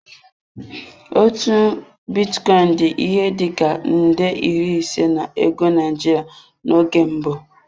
Otu bitcoin dị ihe dị ka nde iri ise na ego Naijiria n'oge mbụ.